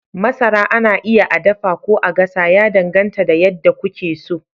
Masara ana iya a dafa ko a gasa, ya danganta da yadda kuke so.